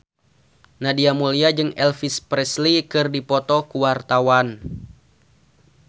Nadia Mulya jeung Elvis Presley keur dipoto ku wartawan